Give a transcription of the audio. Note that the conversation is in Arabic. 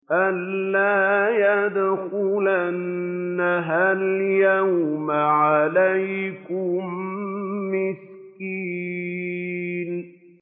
أَن لَّا يَدْخُلَنَّهَا الْيَوْمَ عَلَيْكُم مِّسْكِينٌ